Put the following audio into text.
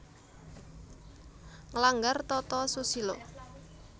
Nglanggar tata susila